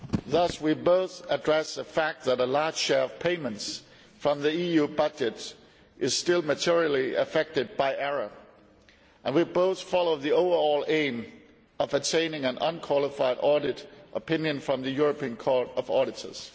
We therefore both addressed the fact that a large share of payments from the EU budget is still materially affected by error, and we both follow the overall aim of attaining an unqualified audit opinion from the European Court of Auditors.